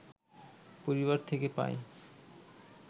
পরিবার থেকে পাই